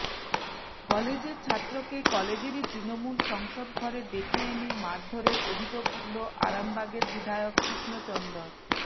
কলেজের ছাত্রকে কলেজেরই তৃণমূল সংসদ ঘরে ডেকে এনে মারধরের অভিযোগ উঠল আরামবাগের বিধায়ক কৃষ্ণচন্দর